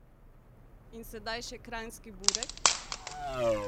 In sedaj še kranjski burek?